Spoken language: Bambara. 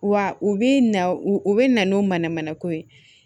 Wa u bi na u bɛ na n'o manamana ko ye